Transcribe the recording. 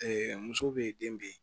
muso bɛ yen den be yen